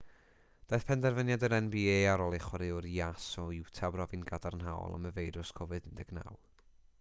daeth penderfyniad yr nba ar ôl i chwaraewr jas o utah brofi'n gadarnhaol am y feirws covid-19